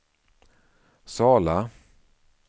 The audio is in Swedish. Sala